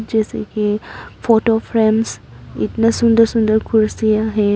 जैसे की photo frames इतना सुंदर सुंदर कुर्सियां है।